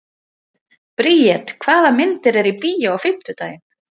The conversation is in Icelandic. Briet, hvaða myndir eru í bíó á fimmtudaginn?